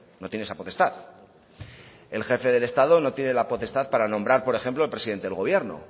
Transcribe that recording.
no tiene esa potestad el jefe del estado no tiene la potestad para nombrar por ejemplo al presidente del gobierno